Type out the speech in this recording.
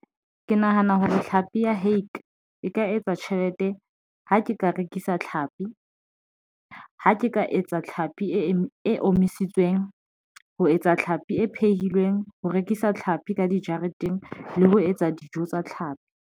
Ke nahana hore tlhapi ya hake e ka etsa tjhelete. Ha ke ka rekisa tlhapi ha ke ka etsa tlhapi e omisitsweng ho etsa tlhapi e phehilweng ho rekisa tlhapi ka dijareteng le ho etsa dijo tsa tlhapi.